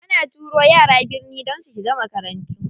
Ana turo yara birni don su shiga makarantu.